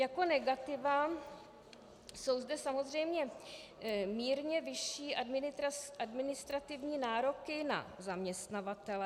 Jako negativa - jsou zde samozřejmě mírně vyšší administrativní nároky na zaměstnavatele.